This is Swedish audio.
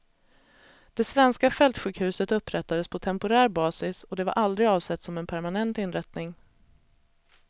Det svenska fältsjukhuset upprättades på temporär basis, och det var aldrig avsett som en permanent inrättning.